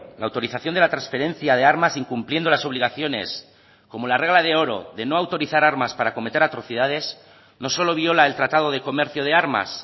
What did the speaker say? la autorización de la transferencia de armas incumpliendo las obligaciones como la regla de oro de no autorizar armas para cometer atrocidades no solo viola el tratado de comercio de armas